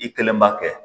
I kelen b'a kɛ